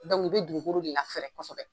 Dɔnku i be dugukoro de lafɛrɛ kosɛbɛ